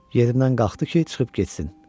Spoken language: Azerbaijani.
Yerindən qalxdı ki, çıxıb getsin.